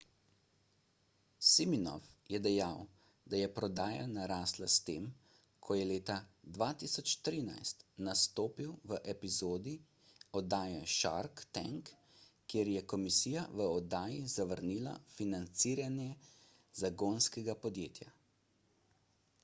siminoff je dejal da je prodaja narasla po tem ko je leta 2013 nastopil v epizodi oddaje shark tank kjer je komisija v oddaji zavrnila financiranje zagonskega podjetja